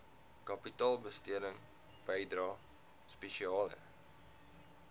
kapitaalbesteding bydrae spesiale